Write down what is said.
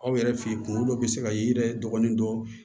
Aw yɛrɛ fɛ yen kunkolo dɔ bɛ se ka ye i yɛrɛ dɔgɔnin dɔ